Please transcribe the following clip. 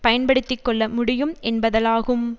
பயன்படுத்தி கொள்ள முடியும் என்பதாலாகும்